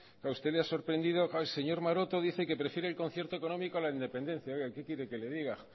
claro a usted le ha sorprendido claro el señor maroto dice que prefiere el concierto económico a la independencia oiga qué quiere que le diga